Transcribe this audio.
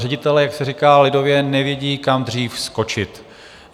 Ředitelé, jak se říká lidově, nevědí, kam dřív skočit.